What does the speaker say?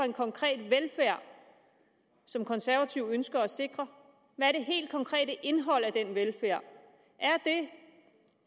en konkret velfærd som konservative ønsker at sikre hvad det helt konkrete indhold af den velfærd er det